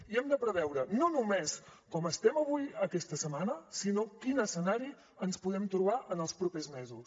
i hem de preveure no només com estem avui aquesta setmana sinó quin escenari ens podem trobar en els propers mesos